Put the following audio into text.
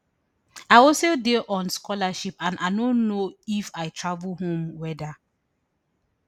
i also dey on scholarship and i no know if i travel home weda